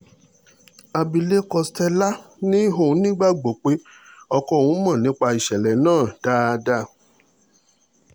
àbílẹ̀kọ stella ni òun nígbàgbọ́ pé ọkọ òun mọ̀ nípa ìṣẹ̀lẹ̀ náà dáadáa